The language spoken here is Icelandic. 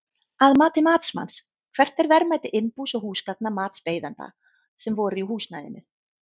Að mati matsmanns, hvert er verðmæti innbús og húsgagna matsbeiðanda sem voru í húsnæðinu?